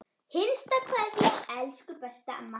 HINSTA KVEÐJA Elsku besta amma.